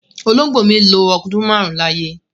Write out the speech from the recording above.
Olóngbó mi lọ ọdún máarun láyé